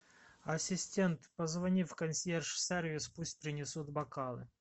ассистент позвони в консьерж сервис пусть принесут бокалы